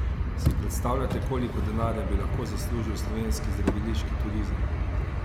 Si predstavljate, koliko denarja bi lahko zaslužil slovenski zdraviliški turizem?